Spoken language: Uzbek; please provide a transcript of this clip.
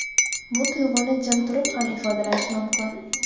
Bu tuyg‘uni jim turib ham ifodalash mumkin.